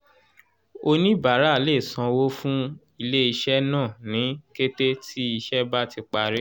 oníbàárà lè sanwó fún ilé-iṣẹ́ náà ní kété tí ìṣe bá ti parí